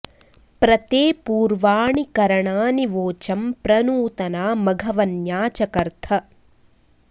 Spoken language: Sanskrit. प्र ते॒ पूर्वा॑णि॒ कर॑णानि वोचं॒ प्र नूत॑ना मघव॒न्या च॒कर्थ॑